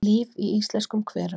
Líf í íslenskum hverum